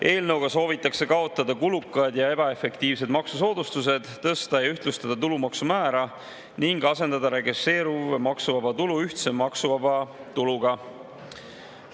Eelnõuga soovitakse kaotada kulukad ja ebaefektiivsed maksusoodustused, tõsta ja ühtlustada tulumaksumäära ning asendada regresseeruv maksuvaba tulu ühtse maksuvaba tuluga.